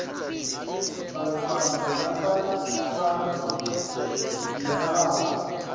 bantfwana labachazwa njengalabo